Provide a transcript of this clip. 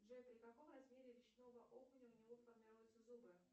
джой при каком размере речного окуня у него формируются зубы